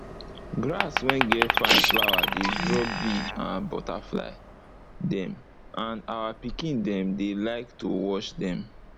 grass wey get fine flower dey draw bee and butterfly dem and our pikin dem dey like to watch dem